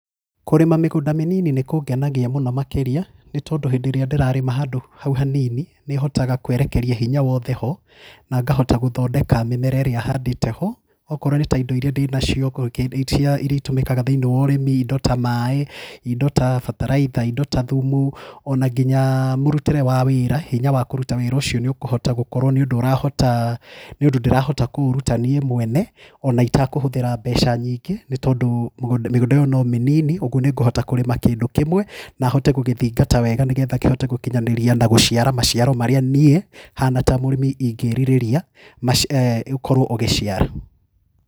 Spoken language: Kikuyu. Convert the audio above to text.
Kũrĩma mĩgũnda mĩnini nĩ kũngenagia mũno makĩria nĩ tondũ hĩndĩ ĩrĩa ndĩrarĩma handũ hau hanini nĩhotaga kũerekeria hinya wothe ho na ngahota gũthondeka mĩmera ĩrĩa handĩte ho. Okorwo nĩ ta indo irĩa ndĩna cio irĩa itũmikaga thiĩniĩ wa ũrĩmi, indo ta maĩ, indo ta bataraitha, indo ta thumu o na nginya mũrutĩre wa wĩra, hinya wa kũruta wĩra ũcio nĩũkũhota gũkorwo nĩũndũ urahota nĩũndũ ndĩrahota kũũruta niĩ mwene o na itekũhũthĩra mbeca nyingĩ ni tondũ mĩgũnda ĩno no mĩnini na kũrĩma kĩndũ kĩmwe na hote gũgĩthingata wega nĩgetha kĩhote gũkinyanĩria na gũciara maciaro marĩa niĩ hana ta mũrĩmi ingĩrirĩria ũkorwo ũgĩciara.